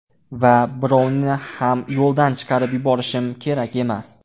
Va birovni ham yo‘ldan chiqarib yuborishim kerak emas.